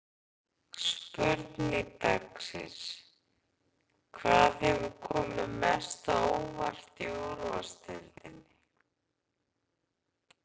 Spurning dagsins: Hvað hefur komið mest á óvart í úrvalsdeildinni?